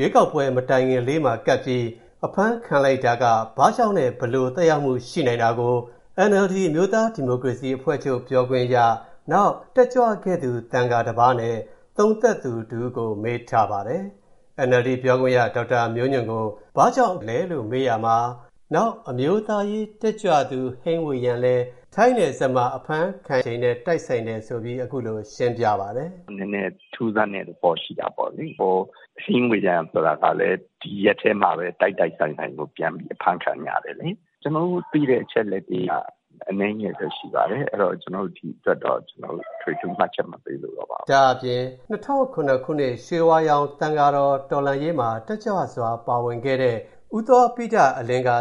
ရွေးကောက်ပွဲမတိုင်ခင် ရက်ပိုင်းအလို မနေ့ တနင်္လာနေ့က အများအမြင်ရှေ့ထွက်ပြီး အဖမ်းခံလိုက်တာဘာကြောင့်လဲ။ ဘယ်လို သက်ရောက်မှုတွေ ဖြစ်လာနိုင်သလဲ။ ကိုဝင်းမင်းက စုစည်းတင်ပြထားပါတယ်။ အခုလို ဦးဝီရသူ တနင်္လာနေ့က ဒဂုံမြို့နယ် ရဲစခန်းကို သွားရောက် အဖမ်းခံချိန်မှာပဲနောက်ထပ် အမျိုးသားရေးဝါဒီ လှုပ်ရှားတက်ကြွသူ ဟိန်းဝေယံလည်း ထိုင်းနယ်စပ် ရဲစခန်းကို သွားရောက်အဖမ်းခံခဲ့ပါတယ်။ ဒီအခြေအနေတွေနဲ့ ပတ်သက်လို့ NLD ပါတီပြောခွင့်ရ ဒေါက်တာမျိုးညွန့်က အခုလို သုံးသပ်ပါတယ်။ “နည်းနည်းတော့ ထူးဆန်းတဲ့သဘောရှိတာပေါ့လေ၊ ဟို ဟိန်းဝေယံဆိုတာကလည်း ဒီရက်ထဲမှာပဲ၊ တိုက်တိုက်ဆိုင်ဆိုင်ကို ပြန်ပြီး အဖမ်းခံကြတယ်လေ။ကျွန်တော်တို့သိတဲ့ အချက်အလက်တွေက၊ အနည်းငယ်ပဲရှိပါတယ်။အဲ့ဒိတော့ ဒီအတွက်တော့ ကျွန်တော်တို့ အထွေအထူး မှတ်ချက်မပေးလိုတော့ပါဘူး။” ဒါ့အပြင် ၂၀၀၇ ခုနှစ် ရွှေဝါရောင်သံဃာတော်လှုပ်ရှားမူမှာ တက်ကြွစွာပါဝင်ခဲ့တဲ့ ဦးသောဘိတ ကလည်း၊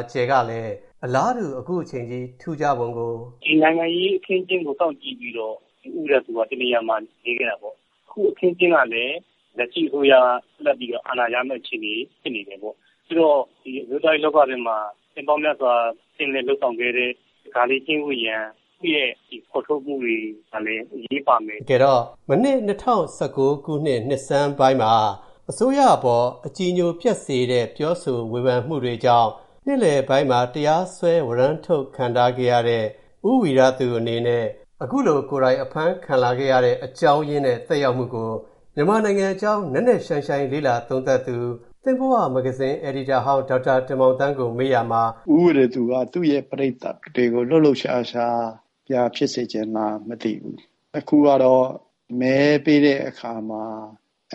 အလားတူ အခုအချိန်ကြီး ထူးခြားပုံကို “ဒီနိုင်ငံရေးအခင်းအကျင်းကို စောင့်ကြည့်ပြီးတော့၊ ဒီ ဦးဝီရသူက တစ်နေရာမှာ နေခဲ့တာပေါ့။အခု အခင်းအကျင်းကလည်း လက်ရှိအစိုးရအာဏာဆက်ရမဲ့ အခြေအနေဖြစ်နေတယ်ပေါ့။ဆိုတော့ ဒီအမျိုးသားရေးလောကထဲမှာ နှစ်ပေါင်းများစွာကျင်လည်လုပ်ဆောင်ခဲ့တဲ့၊ ဒါကာလေး ဟိန်းဝေယံ သူ့ရဲ့ဖော်ထုတ်မူတွေကလည်း အရေးပါမယ်။” တကယ်တော့ မနှစ် ၂၀၁၉ ခုနှစ် နှစ်ဆန်းပိုင်းမှာ၊ အစိုးရအပေါ် အကြည်အညိုပျက်စေတဲ့ ပြောဆိုဝေဖန်မူတွေနဲ့၊ နှစ်လယ်ပိုင်းမှာ၊ တရားစွဲ၊ ဝရမ်းထုတ်ခံထားခဲ့ရတဲ့ ဦးဝီရသူအနေနဲ့၊ အခုလို ကိုယ်တိုင်အဖမ်းခံလာခဲ့ရတဲ့ အကြောင်းရင်းနဲ့ သက်ရောက်နိုင်မူကို၊ မြန်မာနိုင်ငံအကြောင်း နက်နက်ရှိုင်းရှိုင်းလေ့လာသုံးသပ်သူ၊ သင့်ဘဝမဂ္ဂဇင်း အယ်ဒီတာဟောင်း ဒေါက်တာတင်မောင်သန်းကို မေးရာမှာ “ ဦးဝီရသူက သူ့ရဲ့ပရိသတ်တွေကို လှုပ်လှုပ်ရှားရှားပြန်ဖြစ်စေချင်လားမသိဘူး။အခုကတော့၊ မဲပေးတဲ့အခါမှာ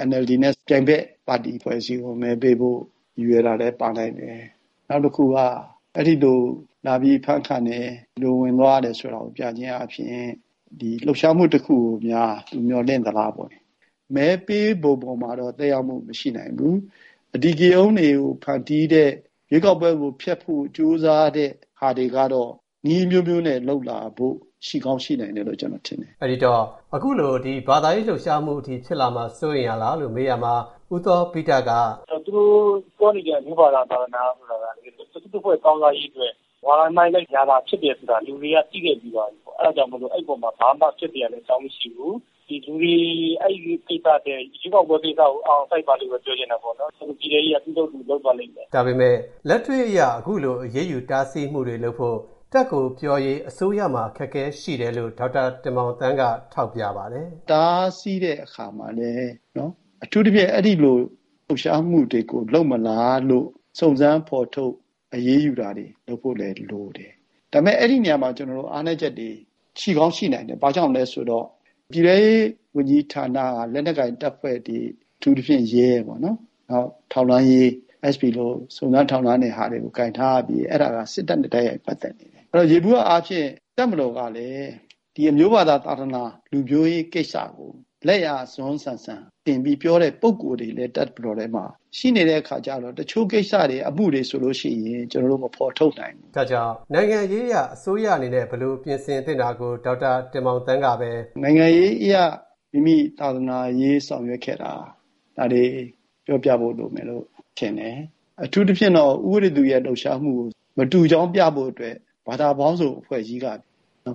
NLD နဲ့ ပြိုင်ဘက် ပါတီအဖွဲ့အစည်းကို မဲပေးဖို့ ရည်ရွယ်တာလည်း ပါနိုင်တယ်။နောက်တစ်ခုက အဲ့ဒီလို လာပြီးအဖမ်းခံတယ်၊ဒီလိုဝင်သွားရတယ်ဆိုတာကို ပြခြင်းအားဖြင့်၊ ဒီလှုပ်ရှားမူတစ်ခုကိုများ သူ မျှော်လင့်သလားပေါ့။ဒီဟာကြောင့်၊ မဲ့ပေးပုံပေါ်မှာတော့ သက်ရောက်မူ မရှိနိုင်ဘူး။အဓိကရုဏ်းတွေကို ဖန်တီးတဲ့ ရွေးကောက်ပွဲကို ဖျက်ဖို့ကြိုးစားတဲ့ဟာတွေကတော့ နည်းအမျိုးမျိုးနဲ့ လုပ်လာဖို့ ရှိကောင်းရှိနိုင်တယ်လို့ ကျွန်တော်ထင်တယ်။” အဲ့ဒီတော့ အခုလို ဘာသာရေးလှုပ်ရှားမူအထိ ဖြစ်လာဖို့ စိုးရမ်ရတာရှိလားလို့ မေးရာမှာ ဦးသောဘိတက - “သူတို့ပြောနေကျ အမျိုး၊ဘာသာ၊ သာသနာဆိုတာက၊ တစ်ဦးတစ်ဖွဲ့ကောင်းစားရေးအတွက် ဝါဒမှိုင်းတိုက်ခံရတာဖြစ်တယ်ဆိုတာကို၊ လူတွေက သိခဲ့ပြီးသွားပြီပေါ့။အဲ့ဒါကြောင့်မို့ အဲ့ဒီအပေါ်မှာ ဘာမှဖြစ်စရာအကြောင်းမရှိဘူး။ဒီ လူတွေ အဲ့ဒိကိစ္စထက်၊ ရွေးကောက်ပွဲကိစ္စကိုအာရုံစိုက်ကြပါလို့ပဲ ပြောချင်တယ်ပေါ့နော်။သူတို့ ပြည်ထဲရေးက သူ့အလုပ်သူလုပ်သွားလိမ့်မယ်။” ဒါပေမဲ့ လက်တွေ့အရ အခုလိုတားဆီး၊ အရေးယူမူတွေလုပ်ဖို့၊ တပ်ကိုပြောရေး၊ အစိုးရမှာ အခက်အခဲရှိနိုင်တယ်လို့ ဒေါက်တာတင်မောင်သန်းက ထောက်ပြပါတယ်။ “တားဆီးတဲ့အခါမှာလည်း၊ အထူးသဖြင့်တော့ အဲ့ဒီလို လှုပ်ရှားမူတွေကို လုပ်မလားလို့၊ စုံစမ်း ဖော်ထုတ် အရေးယူတာတွေလုပ်ဖို့လည်းလိုတယ်။ဒါပေမဲ့ အဲ့ဒီနေရာမှာ၊ အားနည်းချက်တွေ ရှိကောင်းရှိနိုင်တယ်။ဘာကြောင့်လဲဆိုတော့ ပြည်ထဲရေးဝန်ကြီးဌာနက လက်နက်ကိုင်တပ်ဖွဲ့တွေ၊ အထူးသဖြင့် ရဲပေါ့နော်၊ နောက်ထောက်လှမ်းရေး၊ SB လို စုံစမ်းထောက်လှမ်းတဲ့ဌာနတွေ ကိုင်ထားရပြီး၊ အဲ့ဒါက စစ်တပ်နဲ့ တိုက်ရိုက်ပတ်သက်နေတယ်။အဲ့ဒီတော့ ယျေဘူယျအားဖြင့် တပ်မတော်ကလည်း၊ ဒီ အမျိုး၊ ဘာသာ၊ သာသနာ၊ လူမျိုးရေးကိစ္စကို၊ လက်ယာအစွန်းဆန်ဆန်၊ တင်ပြီးတော့ ပြောနေတဲ့ ပုဂ္ဂိုလ်တွေလည်း တပ်မတော်ထဲမှာ ရှိနေတဲ့အခါကျတော့၊ တချို.ကိစ္စတွေ၊ အမူတွေဆို မဖော်ထုတ်နိုင်ဘူး။” ဒါကြောင့် နိုင်ငံရေးအရ အစိုးရက ဘယ်လိုပြင်ဆင်သင့်တာကို ဒေါက်တာတင်မောင်သန်းကပဲ - “နိုင်ငံရေးအရ မိမိ သာသနာရေး ဆောင်ရွက်ခဲ့တာတွေ ပြောပြဖို့လိုမယ်လို့ ထင်တယ်။အထူးသဖြင့်တော့ ဦးဝီရသူရဲ့ လှုပ်ရှားမူကို မတူကြောင်းပြဖို့အတွက်၊ ဘာသာပေါင်းစုံအဖွဲ့ကြီးက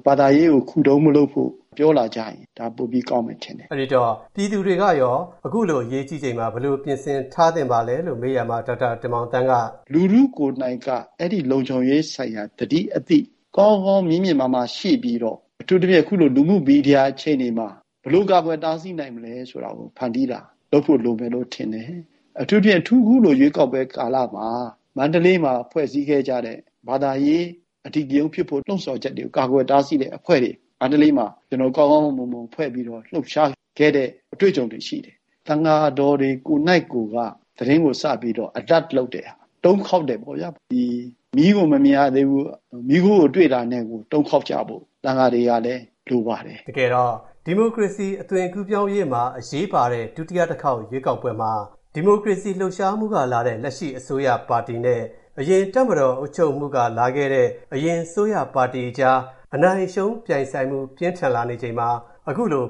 ဘာသာရေးကို ခုတုံးမလုပ်ဖို့ ပြောလာကြရင်၊ ဒါပိုပြီးကောင်းမယ်ထင်တယ်။” အဲ့ဒီတော့ ပြည်သူတွေကရော၊ အခုလိုအရေးကြီးချိန်မှာ ဘယ်လိုပြင်ဆင်ထားသင့်ပါလဲလို့ မေးရာမှာ ဒေါက်တာတင်မောင်သန်းက - “လူထုကိုယ်နှိုက်က အဲ့ဒိလုံခြုံရေးဆိုင်ရာ သတိ၊ အသိ ကောင်းကောင်း မြင့်မြင့်မားမားရှိပြီးတော့၊ အထူးသဖြင့် အခုလို လူမူမီဒီယာအခြေအနေမှာ၊ ဘယ်လိုကာကွယ်တားဆီးနိုင်မလဲဆိုတာကို၊ ဖန်တီးတာလုပ်ဖို့လိုမယ်လို့ထင်တယ်။ အထူးသဖြင့် အထူး အခုလို ရွေးကောက်ပွဲကာလမှာ၊ မန္တလေးမှာအရင်ဖွဲ့စည်းခဲ့ကြတဲ့၊ ဘာသာရေးအဓိကရုဏ်းဖြစ်ဖို့လှုံဆော်ချက်တွေကို ကာကွယ်တားဆီးတဲ့အဖွဲ့တွေကို၊ ကောင်းကောင်းမွန်မွန်ဖွဲ့ပြီးတော့ လှုပ်ရှားခဲ့ကြတဲ့ အတွေ့အကြုံတွေရှိတယ်။သံဃာတော်တွေ ကိုယ်နှိုက်ကိုက၊ သတင်းကို စပြီးတော့ Alert လုပ်တဲ့ဟာ၊ တုံးခေါက်တယ်ပေ့ါဗျာ။ဒီ မီးကိုမမြင်ရသေးဘူး၊ မီးခိုးကိုတွေ့တာနဲ့ကို၊ တုံးခေါက်ကြဖို့ သံဃာတော်တွေကလည်း လိုပါတယ်။” တကယ်တော့ ဒီမိုကရေစီအသွင်ကူးပြောင်းရေးမှာ အရေးပါတဲ့ ဒုတိယအကြိမ် ရွေးကောက်ပွဲမှာ ဒီမိုကရေစီလှုပ်ရှားမူကထွက်ပေါ်လာတဲ့ လက်ရှိအစိုးရပါတီနဲ့ အရင် တပ်မတော် အုပ်ချုပ်မှုကလာခဲ့တဲ့ အရပ်သားတပိုင်း အစိုးရပါတီအကြား အနိုင်အရှုံးပြိုင်ဆိုင်မူ ပြင်းထန်လာချိန်မှာ အခုလို